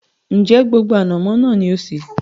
Ń jẹ́ gbogbo ànàmọ́ náà ni ó sé?